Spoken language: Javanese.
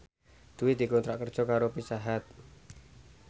Dwi dikontrak kerja karo Pizza Hut